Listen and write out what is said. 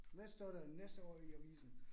Hvad står der næste år i avisen?